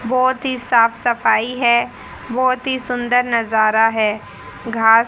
बहोत ही साफ सफाई है बहोत ही सुंदर नजारा है घास--